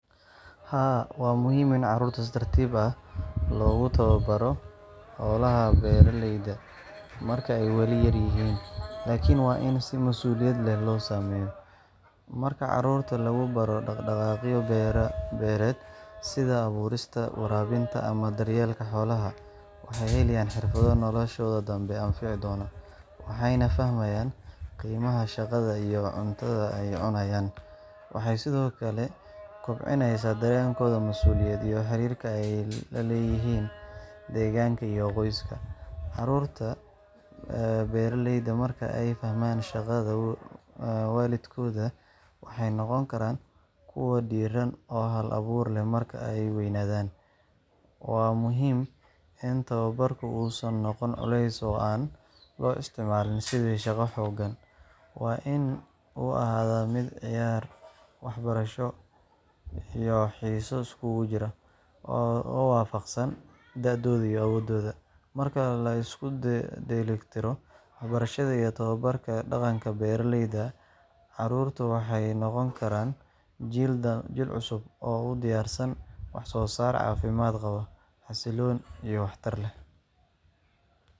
Haa, waxaa si ballaaran loo rumeysan yahay in tababarka carruurta ee dhaq-dhaqaaqyada la xiriira beeraha marka ay weli da’yar yihiin uu yahay arrin muhiim ah, balse waa in loo marayaa si masuuliyad leh, si waafaqsan da’dooda, kartidooda, iyo ilaalinta xuquuqdooda. Waa arrin leh faa’iidooyin dhanka kobaca maskaxda, jirkooda, iyo barashada xirfadaha nolosha, laakiin haddii aan si wanaagsan loo maareyn, waxay noqon kartaa mid wiiqta horumarkooda ama keenta culays jir iyo maskaxeed. Marka hore, tababarka carruurta ee hawlaha beeraleyda wuxuu kaalin muuqata ka qaataa dhaxal-siin dhaqameed iyo xirfadeed. Carruurta waxay bartaan sida dalagga loo beero, loo waraabiyo, iyo sida daryeelka xoolaha loo sameeyo. Waxay baranayaan xiriirka u dhexeeya shaqada iyo natiijada, taasoo sare u qaadaysa xilkasnimadooda, niyad-samida shaqo, iyo fahamka qiimaha hawsha adag. Marka ay carruurtu ka qayb qaataan hawlaha beeraleyda ee fudud sida goosashada ama waraabinta, waxay si tartiib ah ugu kobcaan garashada hab-nololeedka beeralayda. Marka labaad, hawlahaas waxay kor u qaadaan xirfadaha gacanta iyo feejignaanta jir ahaaneed. Carruurtu marka ay qabtaan shaqooyin fudud oo la xiriira beeraha waxay horumariyaan kartidooda shaqooyinka gacanta sida goynta, daadinta, ama abaabulka qalabka beerta. Tani waxay sare u qaadaa isku-duwidda maskaxda iyo gacmaha, taasoo muhiim u ah horumarka jirka iyo kartida shaqo ee mustaqbalka. Saddexaad, tababarka beeralayda marka carruurtu weli yaryihiin wuxuu sidoo kale ka caawiyaa in la baro sabir, is-maamul, iyo samirka hawsha adag. Waxay bartaan in natiijada wanaagsan aysan imaanin si degdeg ah, balse loo baahan yahay dadaal iyo dulqaad. Tani waxay si gaar ah ugu habboon tahay dhisidda dabeecado wanaagsan oo ku salaysan anshax shaqo iyo u diyaargarowga nolosha waayeelka.